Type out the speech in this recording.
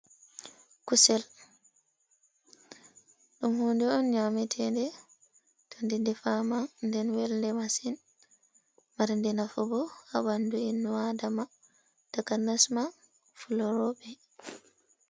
Kusel, ɗum hunnde on nyaameteede. To nde defaama nde welde masin, marde nafu bo haa ɓandu innu aadama, takanasmaa fulorooɓe.